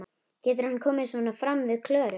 Getur hann komið svona fram við Klöru?